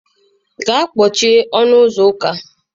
Gaa kpochie ọnụ ụzọ ụka.